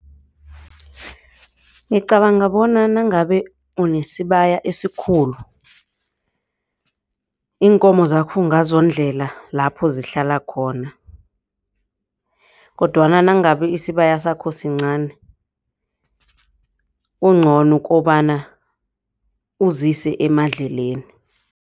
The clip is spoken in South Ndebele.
Ngicabanga bona nangabe unesibaya esikhulu iinkomo zakho ungazondlela lapho zihlala khona. Kodwana nangabe isibaya sakho sincani kungcono ukobana uzise emadlelweni.